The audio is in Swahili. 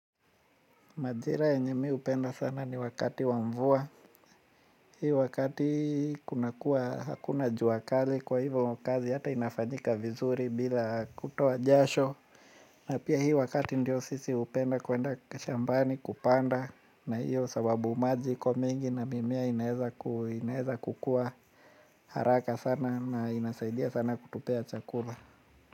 Majira yenye mimi hupenda sana ni wakati wamvua. Hii wakati kuna kuwa hakuna jua kali kwa hivyo kazi hata inafanyika vizuri bila kutoa jasho. Na pia hii wakati ndio sisi hupenda kuenda kashambani kupanda na hiyo sababu maji kwa mingi na mimea inaeza kukua haraka sana na inasaidia sana kutupea chakula.